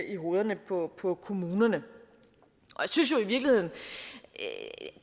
i hovedet på på kommunerne jeg synes i virkeligheden at